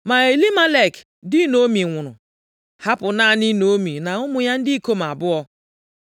Ma Elimelek di Naomi nwụrụ, hapụ naanị Naomi, na ụmụ ya ndị ikom abụọ.